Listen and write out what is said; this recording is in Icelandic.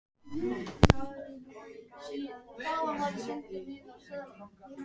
Það er engin venjulegur heili í honum.